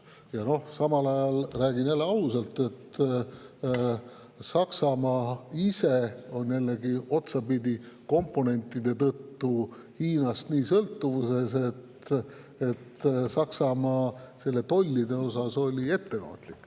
Ja samal ajal – räägin jälle ausalt – on komponentide tõttu Saksamaa Hiinast nii sõltuvuses, et Saksamaa oli nende tollide suhtes ettevaatlik.